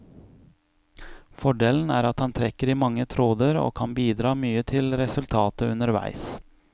Fordelen er at han trekker i mange tråder og kan bidra mye til resultatet underveis.